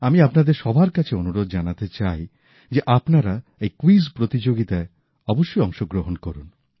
আমি আপনাদের সবার কাছে অনুরোধ জানাতে চাই যে আপনারা এই ক্যুইজ প্রতিযোগিতায় অবশ্যই অংশগ্রহণ করুন